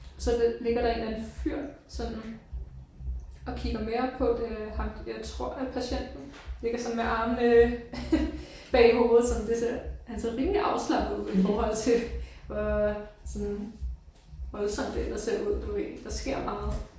Og så ligger der en eller anden fyr sådan og kigger med op på. Det er ham jeg tror er patienten ligger sådan med armene bag hovedet sådan det ser han ser rimelig afslappet ud i forhold til hvor sådan voldsomt det ellers ser ud du ved der sker meget